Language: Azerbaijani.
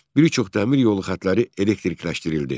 Bir çox dəmir yolu xətləri elektrikləşdirildi.